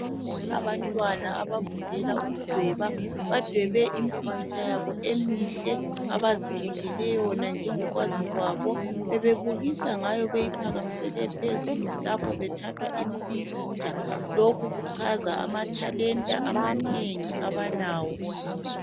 Abantwana abafundela ukudweba, badwebe impikitsha yabo emihle abazikhethele yona njengokwazi kwabo. Bebebukisa ngayo beyiphakamisele phezulu lapho bethathwa impikitsha. Lokhu kuchaza amathalenta amanengi abalawo.